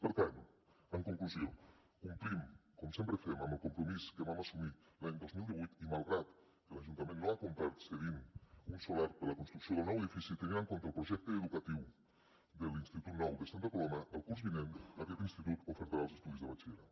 per tant en conclusió complim com sempre fem amb el compromís que vam assumir l’any dos mil divuit i malgrat que l’ajuntament no ha complert cedint un solar per la construcció del nou edifici tenint en compte el projecte educatiu de l’institut nou de santa coloma el curs vinent aquest institut oferirà els estudis de batxillerat